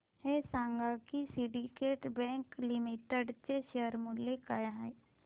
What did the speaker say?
हे सांगा की सिंडीकेट बँक लिमिटेड चे शेअर मूल्य काय आहे